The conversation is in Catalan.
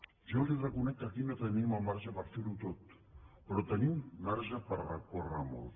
jo li reconec que aquí no tenim el marge per fer ho tot però tenim marge per recórrer molt